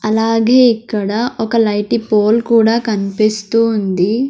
అలాగే ఇక్కడ ఒక లైటీ పోల్ కూడా కన్పిస్తూ ఉంది.